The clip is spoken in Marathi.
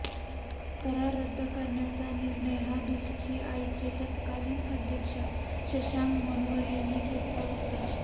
करार रद्द करण्याचा निर्णय हा बीसीसीआयचे तत्कालीन अध्यक्ष शशांक मनोहर यांनी घेतला होता